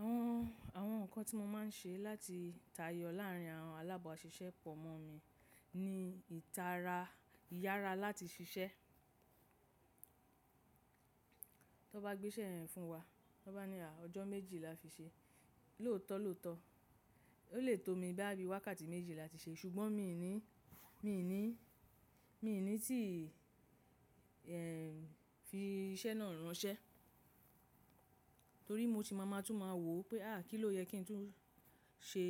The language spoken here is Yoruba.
Àwọn, àwọn nǹkan tí mo máa ń ṣe láti tayọ láàárín àwọn alábàáṣiṣẹ́ pọ̀ mọ́ mi ni ìtara, ìyára láti ṣiṣẹ́. Tó bá gbé isé yen fún wa, tó bá ní òjò méjì là fi se, looto looto. Ó lè tó mi bóyá bí wákàtí méjì la ti ṣe, ṣùgbọ́n mi ní, mi ní, mi ní tí fi iṣẹ́ náà ránṣẹ́. Torí mo ti máa máa tún máa wò ó pé à kí ló yẹ kí n tún ṣe,